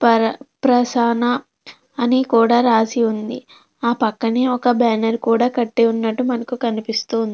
పర ప్రసన్న అనీ కూడా రాసి ఉంది. ఆ పక్కనే ఒక బ్యానర్ కూడా కట్టి ఉన్నట్టు మనకు కనిపిస్తుంది.